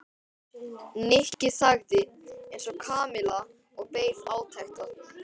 Nikki þagði eins og Kamilla og beið átekta.